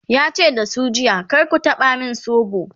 yace da su jiya"kar ku taba min sobo!'